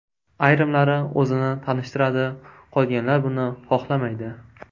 Ayrimlari o‘zini tanishtiradi, qolganlar buni xohlamaydi.